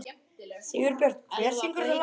Sigurbjört, hver syngur þetta lag?